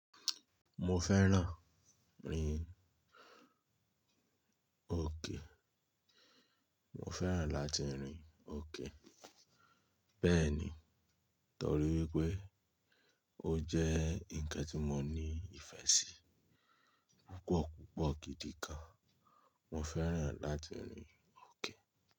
Mo fẹ́ràn rin òkè. Mo fẹ́ràn láti rin òkè. Bẹ́ẹ̀ ni, torí wípé ó jẹ́ ǹkan tí mo ní ìfẹ́ sí. Púpọ̀ púpọ̀ gidi gan, mo fẹ́ràn láti rin òkè.